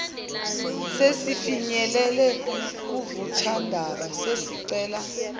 sesifinyelele kuvuthwandaba sesicela